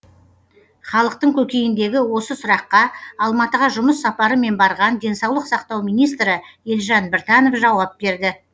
халықтың көкейіндегі осы сұраққа алматыға жұмыс сапарымен барған денсаулық сақтау министрі елжан біртанов жауап берді